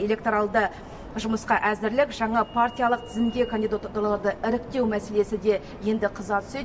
электоралды жұмысқа әзірлік жаңа партиялық тізімге кандидатураларды іріктеу мәселесі де енді қыза түседі